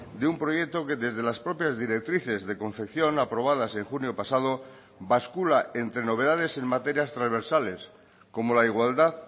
de un proyecto que desde las propias directrices de confección aprobadas en junio pasado bascula entre novedades en materias transversales como la igualdad